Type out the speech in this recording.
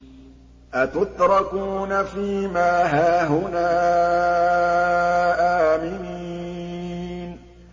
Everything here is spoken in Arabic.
أَتُتْرَكُونَ فِي مَا هَاهُنَا آمِنِينَ